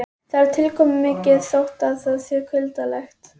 Það er tilkomumikið þótt það sé kuldalegt.